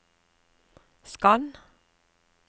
skann